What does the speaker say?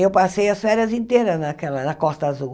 Eu passei as férias inteiras naquela na Costa Azul.